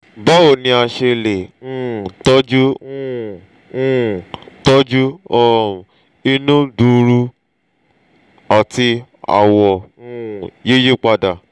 báwo ni a se le um toju um um toju um inu gbuuru ati awo um yiyipadà?